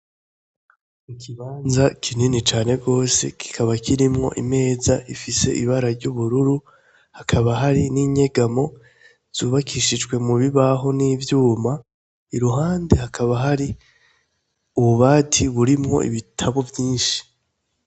Ikibanza kinini cane rwose, kikaba kirimwo imeza ifise ibara ry'ubururu, hakaba hari n'inyegamo zubakishijwe mu bibaho n'ivyuma. Iruhande, hakaba hari ububati burimwo ibitabo vyinshi.